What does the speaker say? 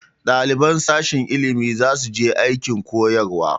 Ɗaliban sashen ilimi za su je aikin koyarwa